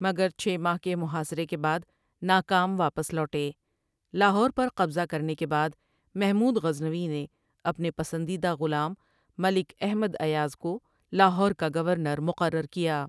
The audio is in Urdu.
مگر چھ ماہ کے محاصرے کے بعد ناکام واپس لوٹے لاہور پر قبضہ کرنے کے بعد محمود غزنوی نے اپنے پسندیدہ غلام ملک احمد ایاز کو لاہور کا گورنر مقرر کیا۔